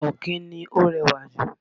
Ọ̀kín ni ó rẹwà ju.